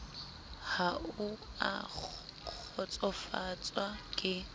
ha o a kgotsofatswa ke